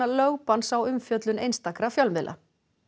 lögbann á umfjöllun einstakra fjölmiðla